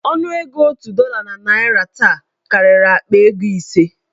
Ọnụego otu dọla na naịra taa karịrị akpa ego ise.